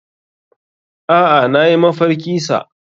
Aa nayi mafarki sa.